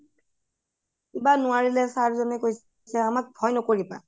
কিবা নোৱাৰিলে sir জনে কৈছে আমাক ভয় নকৰিবা হয়